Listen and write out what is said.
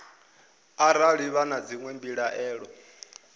arali vha na dzinwe mbilaelo